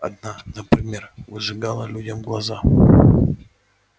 одна например выжигала людям глаза